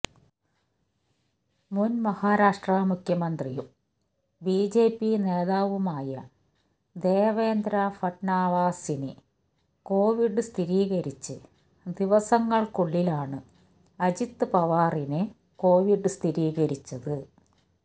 മുന് മഹാരാഷ്ട്ര മുഖ്യമന്ത്രിയും ബിജെപി നേതാവുമായ ദേവേന്ദ്ര ഫട്നാവിസിന് കൊവിഡ് സ്ഥിരീകരിച്ച് ദിവസങ്ങള്ക്കുള്ളിലാണ് അജിത് പവാറിന് കൊവിഡ് സ്ഥിരീകരിച്ചത്